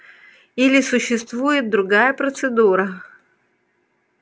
или существует другая процедура